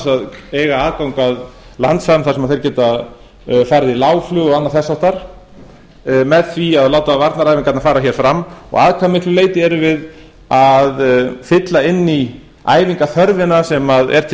að eiga aðgang að landsvæðum þar sem þeir geta farið í lágflug og annað þess háttar með því að láta varnaræfingarnar fara hér fram og að hve miklu leyti erum við að fylla inn í æfingaþörfina sem er til